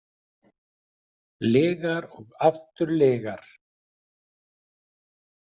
Lygar og aftur lygar.